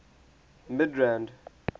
midrand